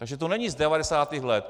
Takže to není z 90. let.